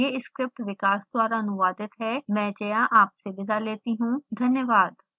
यह स्क्रिप्ट विकास द्वारा अनुवादित है आईआईटी बॉम्बे से में जया आपसे विदा लेती हूँ धन्यवाद